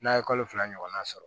N'a ye kalo fila ɲɔgɔnna sɔrɔ